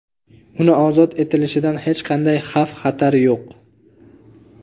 Uni ozod etilishidan hech qanday xavf xatar yo‘q.